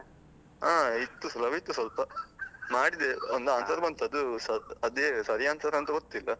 ಹಾ ಇತ್ತು, ಸುಲಭ ಇತ್ತು ಸ್ವಲ್ಪ, ಮಾಡಿದೆ ಒಂದು answer ಬಂತು ಅದು ಅದೇ ಸರಿ answer ಅಂತ ಗೊತ್ತಿಲ್ಲ.